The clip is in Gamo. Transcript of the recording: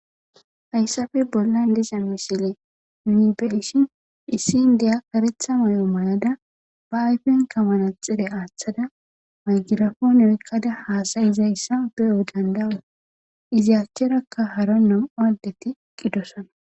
Haysappe bollan diza misile nuni beyishn issi indiya karetha mayo mayada ba ayfenka manaxire athada mayrigapone oyikada hasayizaysa beyo dandayos izzi acharaka hara 2 adeti eqida